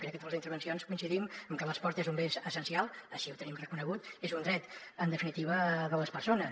crec que totes les intervencions coincidim en que l’esport és un bé essencial així ho tenim reconegut és un dret en definitiva de les persones